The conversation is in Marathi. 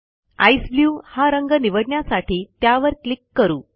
ईसीई ब्लू हा रंग निवडण्यासाठी त्यावर क्लिक करू